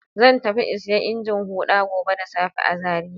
Zan tafi in saya injin huɗa gobe da safe a Zariya.